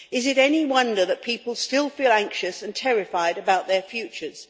Is it any wonder that people still feel anxious and terrified about their futures?